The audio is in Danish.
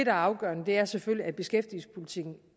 er afgørende er selvfølgelig at beskæftigelsespolitikken